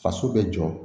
Faso bɛ jɔ